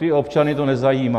Ty občany to nezajímá.